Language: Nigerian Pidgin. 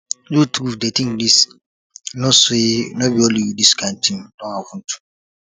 you too dey think this know say no be only you this kind thing don happen to